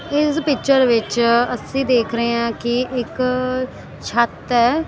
ਇਸ ਪਿਚਰ ਵਿੱਚ ਅਸੀਂ ਦੇਖ ਰਹੇ ਹਾਂ ਕਿ ਇੱਕ ਛੱਤ ਹੈ।